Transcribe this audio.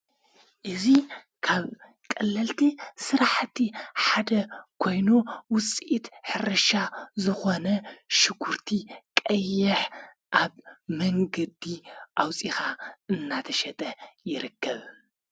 እዙ ካብ ቀለልቲ ሠራሕቲ ሓደ ኮይኑ ውፂእድ ሕርሻ ዝኾነ ሽጕርቲ ቀየሕ ኣብ መኑገዲ ኣውፂኻ እናተሸጠ ይረክብ::